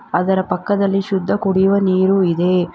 ಅದರ ಪಕ್ಕದಲ್ಲಿ ಶುದ್ಧ ಕುಡಿಯುವ ನೀರು ಇದೆ.